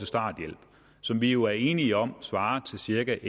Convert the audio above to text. starthjælp som vi jo er enige om svarer til cirka